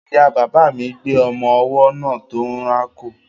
Ìya bàbà mi gbé ọmọ ọwọ́ náà tó ń rákò.